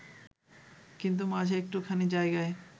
কিন্তু মাঝে একটুখানি জায়গায়